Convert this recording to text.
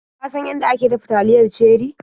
Ka san yanda ake dafa taliyar Cherie?